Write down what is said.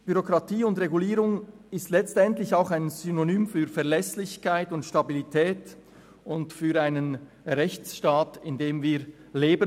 Bürokratie und Regulierung sind letztlich auch Synonyme für Verlässlichkeit und Stabilität sowie für den Rechtsstaat, in welchem wir leben;